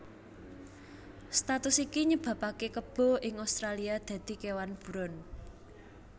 Status iki nyebabaké kebo ing Australia dadi kéwan buron